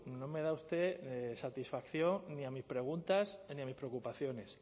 no me da usted satisfacción ni a mis preguntas ni a mis preocupaciones